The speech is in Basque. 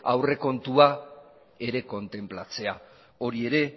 aurrekontua ere kontenplatzea hori ere